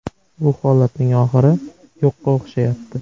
Bu holatning oxiri yo‘qqa o‘xshayapti.